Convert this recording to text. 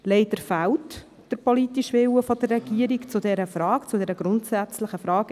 Leider fehlt der Regierung der politische Wille in dieser Frage – einmal mehr in einer grundsätzlichen Frage.